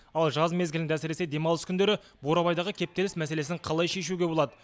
ал жаз мезгілінде әсіресе демалыс күндері бурабайдағы кептеліс мәселесін қалай шешуге болады